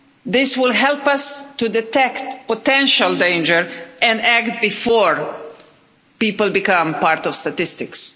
This will help us to detect potential danger and act before people become part of statistics.